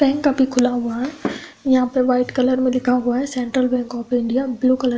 Bank अभी खुला हुआ है। यहां पे व्हाइट कलर में लिखा हुआ है central bank of India. Blue colour --